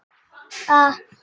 Hún megi vinna á sumrin.